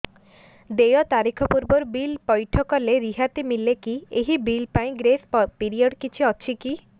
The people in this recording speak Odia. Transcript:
ଦେୟ ତାରିଖ ପୂର୍ବରୁ ବିଲ୍ ପୈଠ କଲେ ରିହାତି ମିଲେକି ଏହି ବିଲ୍ ପାଇଁ ଗ୍ରେସ୍ ପିରିୟଡ଼ କିଛି ଅଛିକି